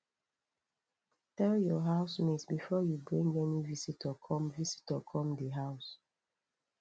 tell your house mate before you bring any visitor come visitor come di house